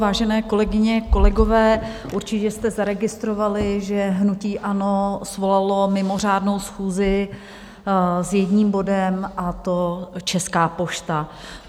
Vážené kolegyně, kolegové, určitě jste zaregistrovali, že hnutí ANO svolalo mimořádnou schůzi s jedním bodem, a to Česká pošta.